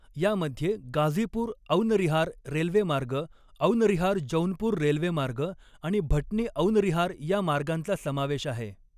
यामध्ये गाझीपूर औनरिहार रेल्वे मार्ग, औनरिहार जौनपूर रेल्वे मार्ग आणि भटनी औनरिहार या मार्गांचा समावेश आहे.